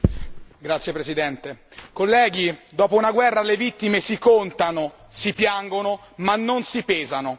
Signor Presidente, onorevoli colleghi, dopo una guerra le vittime si contano, si piangono ma non si pesano.